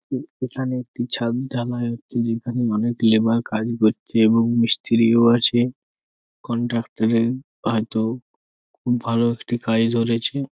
উএখানে একটি ছাদ ঢালাই হচ্ছে যেখানে অনেক লেবার কাজ করছে এবং মিস্ত্রিও আছে। কনট্রাক্টার -এর হয়তো খুব একটি কাজ ধরেছে।